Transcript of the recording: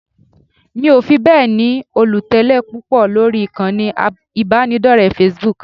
Mi ò fi bẹ́ẹ̀ ni olùtẹ̀lé púpọ̀ lórí ìkànnì ìbánidọ́rẹ̀ẹ́ Facebook